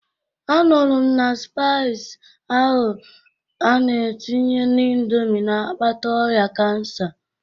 Anụrụ m na spaịs ahụ a na-etinye n'indomi n'akpata ọrịa kansa.